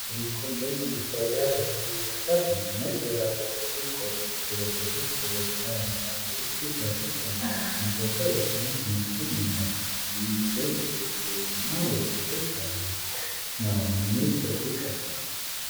የፓይኒየር ኮሌጅ የማስታወቂያ በራሪ ወረቀት ነው። ነጭ የላብራቶሪ ኮት የለበሰች ፈገግታ ያላት ሴት ፊት ለፊት ቆማለች። መረጃው የጤና ትምህርትን ይመለከታል። ለመመዝገብ የስልክ ቁጥሮች እና ዌብሳይት አሉ። "ጆይን ናው" የሚል ጥሪ ቀርቧል።